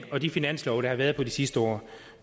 og de finanslove der har været de sidste år